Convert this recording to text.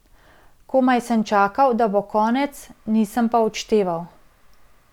Komaj sem čakal, da bo konec, nisem pa odšteval.